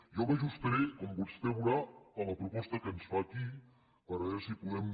jo m’ajustaré com vostè veurà a la proposta que ens fa aquí per veure si podem